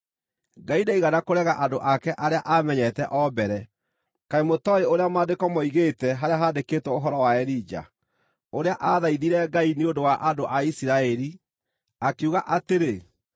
Ngai ndaigana kũrega andũ ake arĩa aamenyete o mbere. Kaĩ mũtooĩ ũrĩa Maandĩko moigĩte harĩa handĩkĩtwo ũhoro wa Elija, ũrĩa aathaithire Ngai nĩ ũndũ wa andũ a Isiraeli, akiuga atĩrĩ: